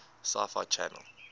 sci fi channel